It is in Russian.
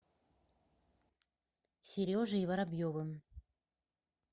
сережей воробьевым